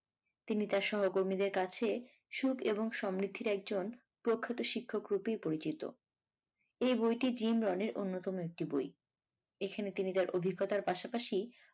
তিনি তার সহকর্মীদের কাছে সুখ এবং সমৃদ্ধির একজন প্রখ্যাত শিক্ষক রূপেই পরিচিত এই বইটি জিম রনের অন্যতম একটি বই। এখানে তিনি তার অভিজ্ঞতার পাশাপাশি